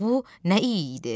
Bu nə iyi idi?